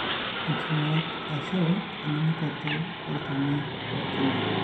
Enkingurat ashu enunukoto olchoni lolkina.